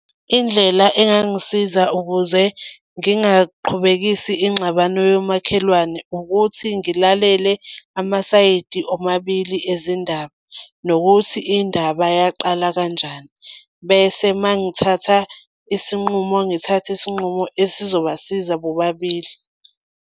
Indlela engangisiza ukuze ngingaqhubekisi ingxabano yomakhelwane, ukuthi ngilalele amasayidi omabili ezindaba, nokuthi indaba yaqala kanjani, bese uma ngithatha isinqumo ngithathe isinqumo esizobasiza bobabili.